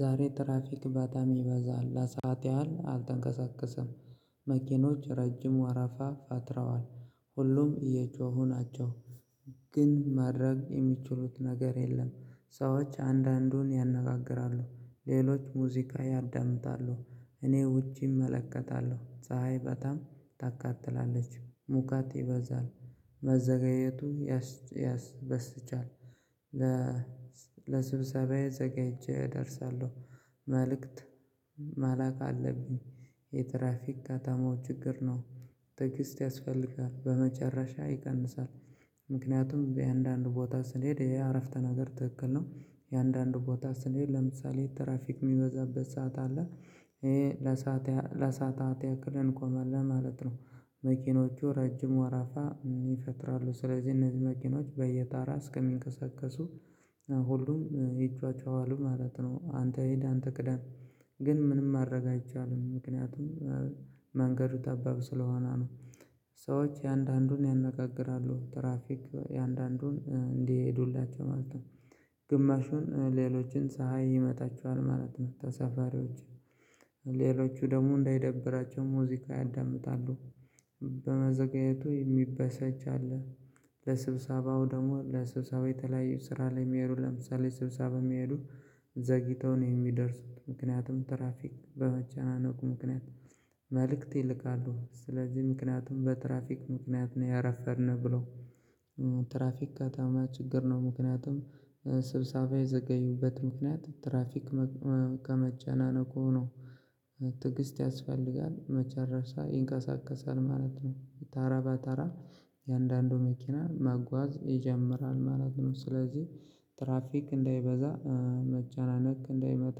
ዛሬ ትራፊክ በጣም ይበዛል ለሰአት ያህል አልተንቀሳቀሰም። መኪኖች ረጅም ወረፋ ፈጥረዋል ሁሉም እየጮሁ ናቸው። ግን ማድረግ የሚችሉት ነገር የለም። ሰዎች አንዳንዱን ያነጋግራሉ ሌሎች ሙዚቃ ያዳምጣሉ። እኔ ውጪ እመለከታለሁ ፀሀይ በጣም ታካትላለች ሙቃቴ ይበዛል። መዘጋጀቱ ያስበሳጫል። ለስብሰባዬ ዘጋይቼ እደርሳለሁ። መልእክት ማላክ አለብኝ። የትራፊክ ከተማው ችግር ነው። ትግስት ያስፈልጋል በመጨረሻ ይቀንሳል። ምክንያቱም የአንዳንድ ቦታ ስንሄድ የአረፍተ ነገር ትክክል ነው። የአንዳንድ ቦታ ስንሄድ ለምሳሌ ትራፊክ የሚበዛበት ሰዓት አለ። ይሄ ለሰዓትታት ያክልን ንቆማለን ለማለት ነው። መኪኖቹ ረጅም ወራፋ ይፈጥራሉ ስለዚህ እነዚህ መኪኖች በየታራ እስከሚንቀሳቀሱ ሁሉም ይጫጫሃሉ ማለት ነው። አንተ ሂድ አንተ ቅደህ። ግን ምንም ማረጋገጥ አይቻልም። ምክንያቱም መንገዱ ጠባብ ስለሆነ ነው። ሰዎች የአንዳንዱን ያነጋግራሉ ትራፊክ የአንዳንዱን እንዲሄዱላቸው ማለት ነው። ግማሹን ሌሎችን ጻሃይ ይመታቸዋል ማለት ነው። ተሳፋሪዎች ሌሎቹ ደግሞ እንዳይደብራቸው ሙዚቃ ያዳምጣሉ። በመዘግየቱ የሚበሰጭአለ። ለስብሰባው ደግሞ ለስብሰባው የተለያየ ስራ ላይ የሚሄዱ ለምሳሌ ስብሰባ የሚሄዱ ዘግይተው ነው የሚደርሱት ምክንያቱም ትራፊክ በመጨናነቁ ምክንያት። መልእክት ይልካሉ ስለዚህ ምክንያቱም በትራፊክ ምክንያት ነው ያረፈድነው ብለው። ትራፊክ ከተማ ችግር ነው። ምክንያቱም ስብሳቤ የዘገዩበት ምክንያት ትራፊክ ከመጨናነቁ ነው። ትግስት ያስፈልጋል መጨረሻ ይንቀሳቀሳል ማለት ነው። ታራ በታራ የአንዳንዱ መኪና ማጓዝ ይጀምራል ማለት ነው። ስለዚህ ትራፊክ እንዳይበዛ መጨናነቅ እንዳይመጣ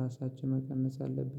ራሳችን መቀነስ አለብን